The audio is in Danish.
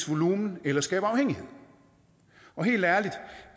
volumen eller skabe afhængighed og helt ærligt